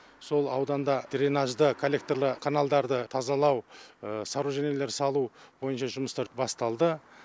сол ауданда дренажды корректорлы каналдарды тазалау соружениелер салу бойынша жұмыстар басталды